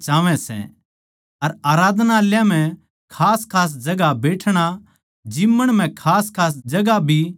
अर आराधनालयाँ म्ह खासखास जगहां बैठणा जिम्मण म्ह खासखास जगहां भी चाहवैं सै